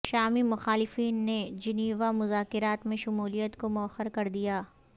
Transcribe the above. شامی مخالفین نے جنیوا مذاکرات میں شمولیت کو موخر کر دیا